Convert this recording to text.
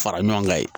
Fara ɲɔgɔn ga ye